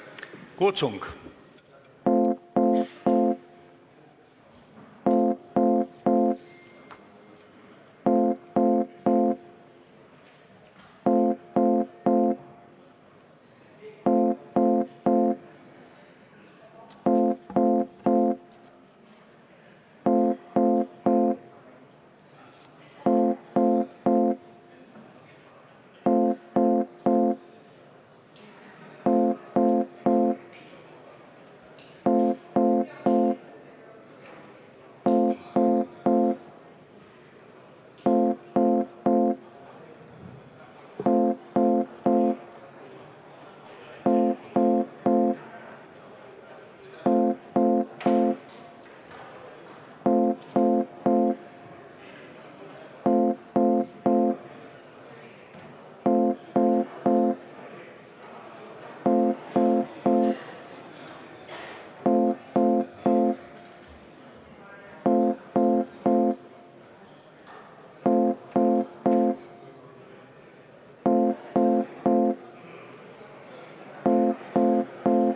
Kutsung!